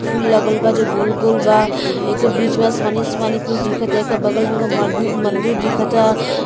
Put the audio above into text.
फूल लागल बा जो गोल-गोल बा। इके बीचवा आसमानी आसमानी कुछ दिखत। एकर बगल में एक मं मंदिर दिखाता।